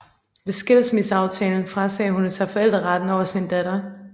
Ved skilsmisseaftalen frasagde hun sig forældreretten over sin datter